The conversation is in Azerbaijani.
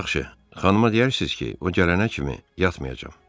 Yaxşı, xanıma deyərsiniz ki, o gələnə kimi yatmayacam.